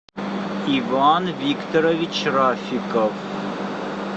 иван викторович рафиков